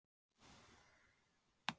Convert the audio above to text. Þetta átti aldrei að gerast en gerðist samt.